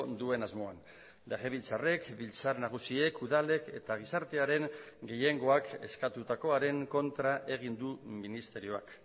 duen asmoan legebiltzarrek biltzar nagusiek udalek eta gizartearen gehiengoak eskatutakoaren kontra egin du ministerioak